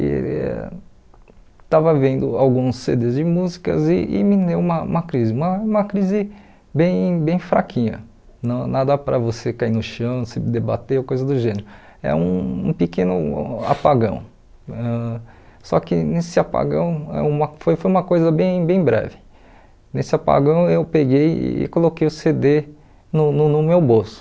e estava vendo alguns cê dês de músicas e e me deu uma uma crise, uma crise bem bem fraquinha, não nada para você cair no chão, se debater, coisa do gênero, é um pequeno apagão, ãh só que nesse apagão, uma foi foi uma coisa bem breve, nesse apagão eu peguei e coloquei o cê dê no no no meu bolso,